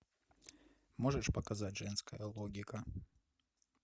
можешь показать женская логика